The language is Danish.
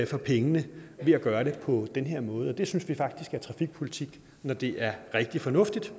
for pengene ved at gøre det på den her måde og det synes vi faktisk er trafikpolitik når det er rigtig fornuftigt